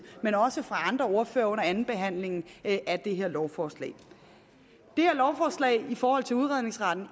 men også fra andre ordførere under andenbehandlingen af det her lovforslag det her lovforslag indebærer i forhold til udredningsretten